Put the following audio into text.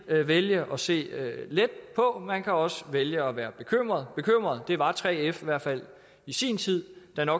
vælge at se let på man kan også vælge at være bekymret bekymret var 3f i hvert fald i sin tid da